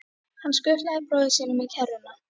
Hann skutlaði bróður sínum í kerruna.